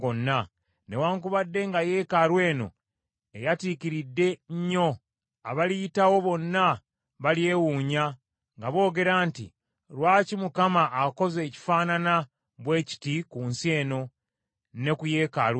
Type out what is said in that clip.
Newaakubadde nga yeekaalu eno eyatiikiridde nnyo, abaliyitawo bonna balyewuunya, nga boogera nti, ‘Lwaki Mukama akoze ekifaanana bwe kiti ku nsi eno ne ku yeekaalu eno?’